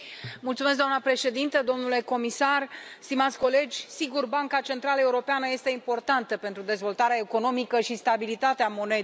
Doamna președintă, domnule comisar, stimați colegi, desigur, Banca Centrală Europeană este importantă pentru dezvoltarea economică și stabilitatea monedei.